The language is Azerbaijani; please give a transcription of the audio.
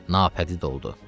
Nafədid oldu.